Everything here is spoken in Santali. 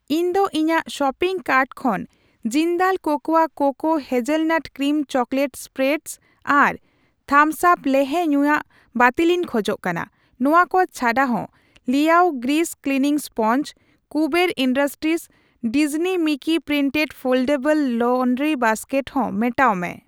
ᱤᱧ ᱫᱚ ᱤᱧᱟᱜ ᱥᱚᱯᱤᱝ ᱠᱟᱨᱴ ᱠᱷᱚᱱ Jindal cocoa cocoa hazelnut cream chocolate spreads ᱟᱨ ᱛᱷᱟᱢᱥ ᱟᱯ ᱞᱮᱦᱮ ᱧᱩᱭᱟᱜ ᱵᱟᱹᱛᱤᱞᱤᱧ ᱠᱷᱚᱡ ᱠᱟᱱᱟ ᱾ ᱱᱚᱣᱟ ᱠᱚ ᱪᱷᱟᱰᱟᱦᱚᱸ, Liao grease cleaning sponge, Kuber industries Disney Mickey printed foldable laundry basket ᱦᱚᱸ ᱢᱮᱴᱟᱣ ᱢᱮ ᱾